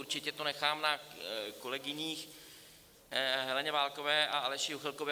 Určitě to nechám na kolegyni Heleně Válkové a Aleši Juchelkovi.